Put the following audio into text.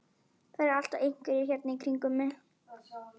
Það eru alltaf einhverjir hérna í kringum mig.